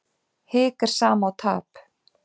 Hik er sama og tap.